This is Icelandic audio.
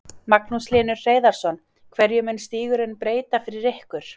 Magnús Hlynur Hreiðarsson: Hverju mun stígurinn breyta fyrir ykkur?